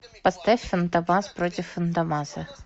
поставь фантомас против фантомаса